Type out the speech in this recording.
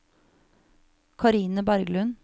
Karine Berglund